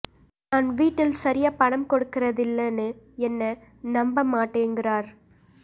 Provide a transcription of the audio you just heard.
நான் வீட்டில சரியா பணம் கொடுக்கறதில்லன்னு என்ன நம்ப மாட்டேங்குறார்